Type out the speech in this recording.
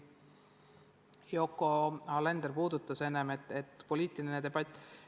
Yoko Alender rääkis enne poliitilisest debatist.